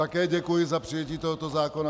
Také děkuji za přijetí tohoto zákona.